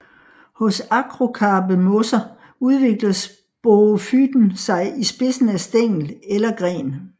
Hos akrokarpe mosser udvikler sporofyten sig i spidsen af stængel eller gren